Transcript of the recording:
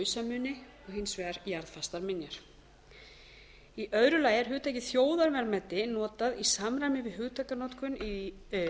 vegar lausamuni og hins vegar jarðfastar minjar annars hugtakið þjóðarverðmæti er nú notað í samræmi við hugtakanotkun í